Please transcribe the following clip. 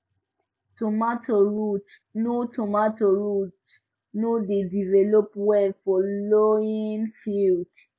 tomato roots no tomato roots no dey develop well for lowlying fields